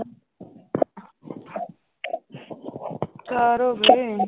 ਚਾਰ ਹੋ ਗਏ।